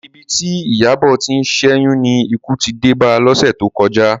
Ibi tí Ìyábọ̀ ti ń ṣẹ́yún ni ikú ti dé ba lọ́sẹ̀ tó kọjá